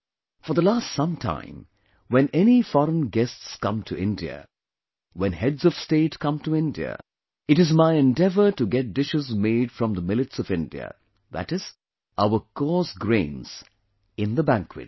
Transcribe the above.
For the last some time, when any foreign guests come to India, when Heads of State comes to India, it is my endeavor to get dishes made from the millets of India, that is, our coarse grains in the banquets